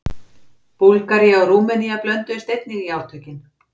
Búlgaría og Rúmenía blönduðust einnig í átökin.